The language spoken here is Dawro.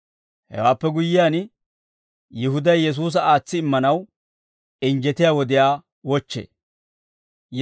Hewaappe guyyiyaan, Yihuday Yesuusa aatsi immanaw injjetiyaa wodiyaa wochchee.